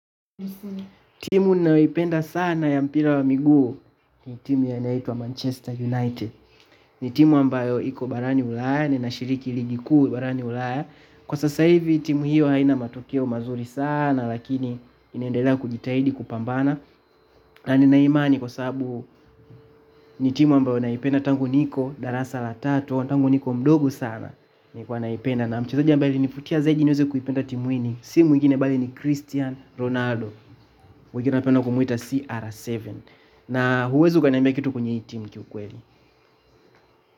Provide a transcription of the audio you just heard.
Timu ninayoipenda sana ya mpira wa miguu ni timu inayoitwa Manchester United. Ni timu ambayo iko barani Ulaya, na inashiriki ligi kuu barani Ulaya. Kwa sasa hivi timu hiyo haina matokeo mazuri sana lakini inaendelea kujitahidi kupambana. Na nina imani kwa sababu ni timu ambayo naipenda tangu niko darasa la tatu, tangu niko mdogo sana nikiwa naipenda, na mchezaji ambaye alinivutia zaidi nikaanza kuipenda timu hii si mwingine bali ni Cristiano Ronaldo, ninapenda kumuita CR7. Na huwezi ukaniambia kitu kuhusu hii team kiukweli.